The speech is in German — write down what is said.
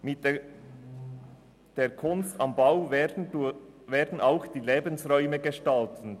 Mit der «Kunst am Bau» werden auch die Lebensräume gestaltet.